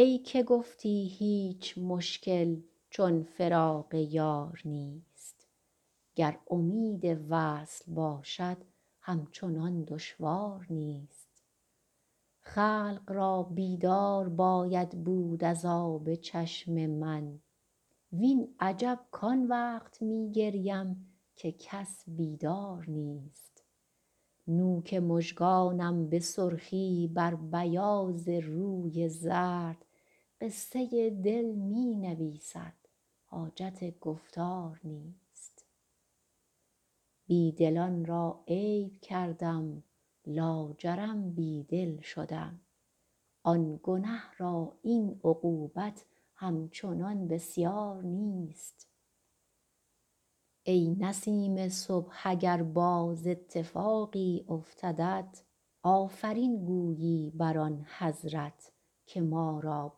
ای که گفتی هیچ مشکل چون فراق یار نیست گر امید وصل باشد همچنان دشوار نیست خلق را بیدار باید بود از آب چشم من وین عجب کان وقت می گریم که کس بیدار نیست نوک مژگانم به سرخی بر بیاض روی زرد قصه دل می نویسد حاجت گفتار نیست بی دلان را عیب کردم لاجرم بی دل شدم آن گنه را این عقوبت همچنان بسیار نیست ای نسیم صبح اگر باز اتفاقی افتدت آفرین گویی بر آن حضرت که ما را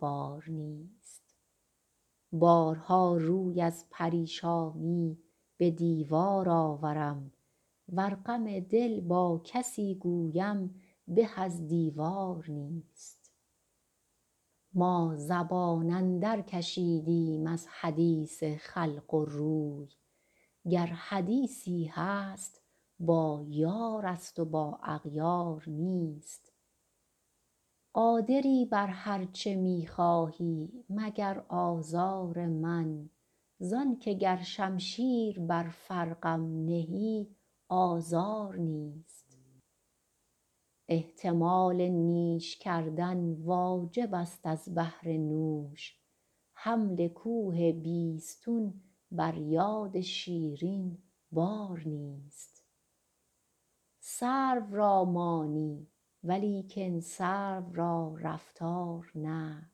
بار نیست بارها روی از پریشانی به دیوار آورم ور غم دل با کسی گویم به از دیوار نیست ما زبان اندرکشیدیم از حدیث خلق و روی گر حدیثی هست با یارست و با اغیار نیست قادری بر هر چه می خواهی مگر آزار من زان که گر شمشیر بر فرقم نهی آزار نیست احتمال نیش کردن واجبست از بهر نوش حمل کوه بیستون بر یاد شیرین بار نیست سرو را مانی ولیکن سرو را رفتار نه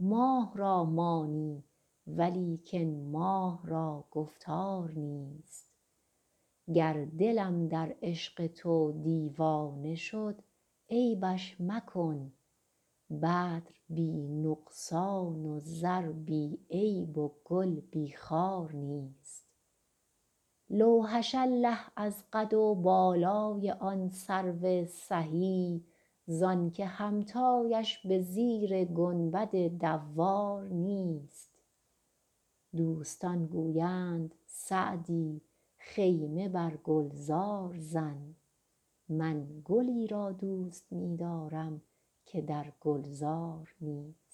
ماه را مانی ولیکن ماه را گفتار نیست گر دلم در عشق تو دیوانه شد عیبش مکن بدر بی نقصان و زر بی عیب و گل بی خار نیست لوحش الله از قد و بالای آن سرو سهی زان که همتایش به زیر گنبد دوار نیست دوستان گویند سعدی خیمه بر گلزار زن من گلی را دوست می دارم که در گلزار نیست